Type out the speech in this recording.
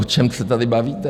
O čem se tady bavíte?